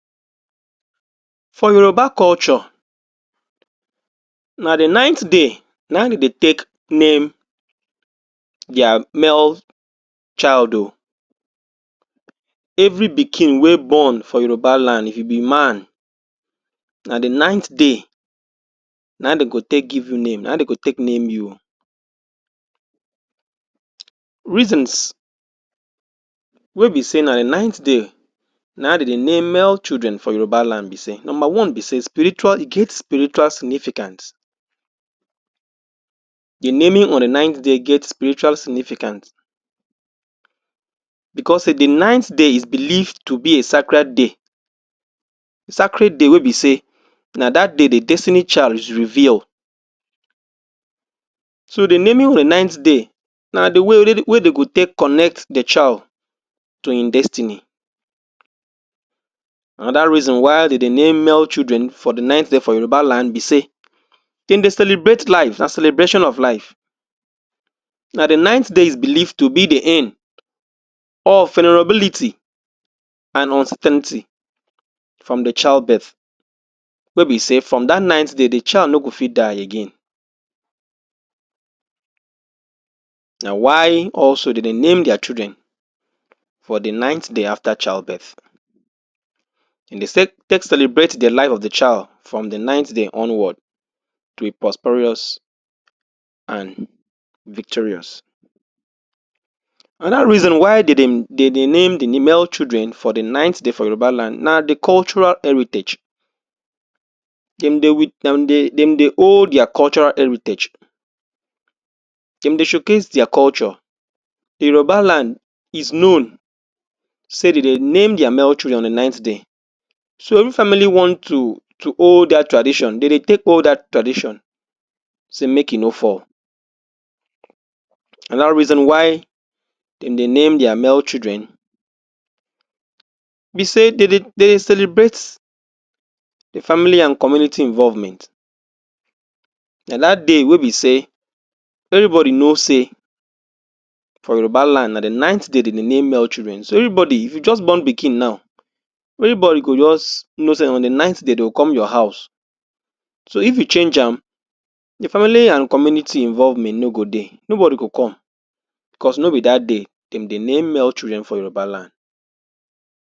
For Yoruba culture, na the ninth day na im dem dey take name their male child o. Every pikin wey born for Yoruba land, if you be man, na the ninth day na im de go take give you name, na im de go take name you o. Reasons wey be sey na ninth day naim de dey name male children for Yoruba land be sey, number one be sey spiritual e get spiritual significance. The naming on the ninth day get spiritual significance because sey the ninth day is believed to be a sacred day. Sacred day wey be sey, na that day the destiny child is revealed. So, the naming on ninth day na the way wey dey go take connect the child to im destiny. Another reason why de dey name male children for the ninth day for Yoruba land be sey, dem dey celebrate life, na celebration of life. Na the ninth day is believed to be the end of vulnerability and uncertainty from the child birth, wey be sey from that ninth day the child no go fit die again. Na why also de dey name their children for the ninth day after childbirth. Dem dey take celebrate the life of the child from the ninth day onward to be prosperous and victorious. Another reason why de dey de dey name the male children for the ninth day for Yoruba land na the cultural heritage. Dem dey dem dey dem dey hold their cultural heritage. Dem dey showcase their culture. A Yoruba land is known sey de dey name their male children on the ninth day. So, if family want to to hold that tradition, de dey take hold that tradition sey make e no fall. Another reason why de dey name their male children be sey de dey de dey celebrate the family and community involvement. Na that day wey be sey everybody know sey for Yoruba land na the ninth day de dey name male children. So, everybody, if you just born pikin now, everybody go just know sey na on the ninth day dey come your house. So, if you change am, the family and community involvement no go dey. Nobody go come cause no be that day dem dey name male children for Yoruba land.